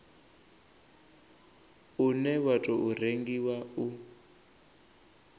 une wa tou rengiwa u